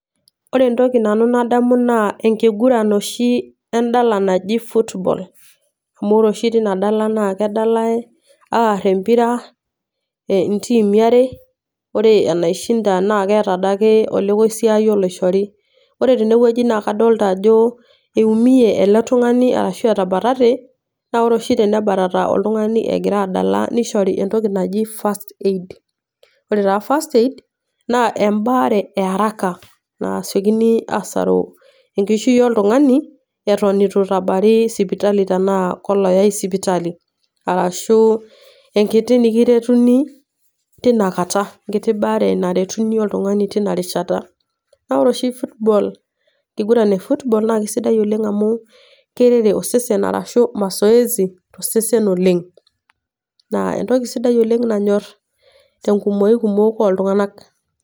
Ore entoki nadamu nanu naa enoshi endalaa naji football, amu ore oshi teina Dala na kedalai aar empira e ntimi are, ore enaishinda naaa keata Ade ake olokoisiayo loishori. Ore teinewueji naa kadolita ajo eumie ele tung'ani ashu ketabatate. Naa ore oshi tenebatata oltung'ani egira adala neishori entoki naji first aid . Ore taa first aid naa embaare e araka nasiokini aasaru enkishui oltung'ani eton eitu eitabari sipitali tanaa ko olayai sipitali, ashu enkiti nikiretuni teina kata enkiti baare nekiretuni oltung'ani teina rishata. Naa ore oshi football eingirun e footbal naa keaisidai amu keirere osesen ashu mazoezi tosesen oleng'. Naa entoki sidai oleng' nanyor tenkumoi kumok oltung'ana.